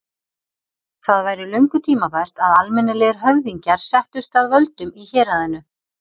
Það væri löngu tímabært að almennilegir höfðingjar settust að völdum í héraðinu.